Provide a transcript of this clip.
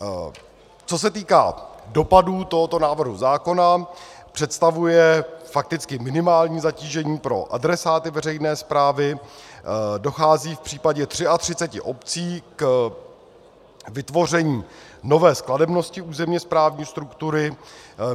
Co se týká dopadů tohoto návrhu zákona, představuje fakticky minimální zatížení pro adresáty veřejné správy, dochází v případě 33 obcí k vytvoření nové skladebnosti územně správní struktury.